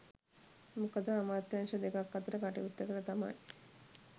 මොකද අමාත්‍යංශ දෙකක් අතර කටයුත්තකට තමයි